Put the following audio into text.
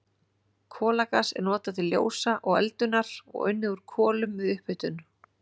Kolagas er notað til ljósa og eldunar og unnið úr kolum við upphitun.